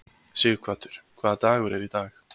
Sighvatur, hvaða dagur er í dag?